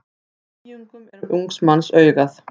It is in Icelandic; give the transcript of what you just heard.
Á nýjungum er ungs manns augað.